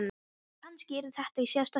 Og kannski yrði þetta í síðasta sinn.